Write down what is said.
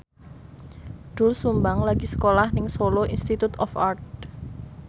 Doel Sumbang lagi sekolah nang Solo Institute of Art